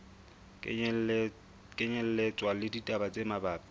kenyelletswa le ditaba tse mabapi